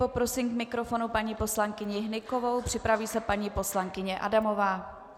Poprosím k mikrofonu paní poslankyni Hnykovou, připraví se paní poslankyně Adamová.